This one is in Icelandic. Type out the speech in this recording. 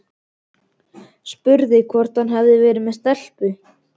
Spurði hvort hann hefði verið með stelpu.